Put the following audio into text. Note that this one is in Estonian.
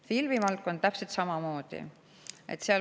Filmivaldkonnas on täpselt samamoodi.